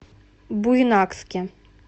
буйнакске